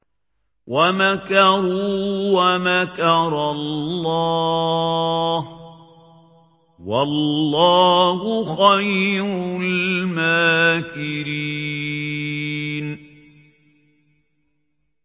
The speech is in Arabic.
وَمَكَرُوا وَمَكَرَ اللَّهُ ۖ وَاللَّهُ خَيْرُ الْمَاكِرِينَ